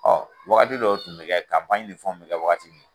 wagati dɔw tun bi kɛ fɛnw tun bi kɛ wagati min